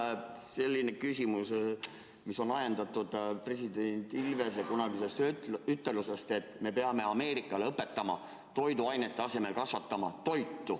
Mul on selline küsimus, mis on ajendatud president Ilvese kunagisest ütelusest, et me peame Ameerikale õpetama toiduainete kasvatamise asemel toidu kasvatamist.